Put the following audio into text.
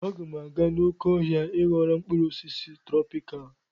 Aga m aga n'oké ọhịa I ghọrọ mkpụrụ osisi trọpikalụ